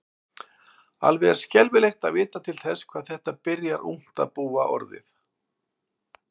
Alveg er skelfilegt að vita til þess hvað þetta byrjar ungt að búa orðið.